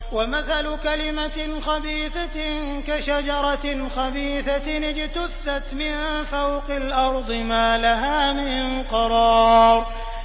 وَمَثَلُ كَلِمَةٍ خَبِيثَةٍ كَشَجَرَةٍ خَبِيثَةٍ اجْتُثَّتْ مِن فَوْقِ الْأَرْضِ مَا لَهَا مِن قَرَارٍ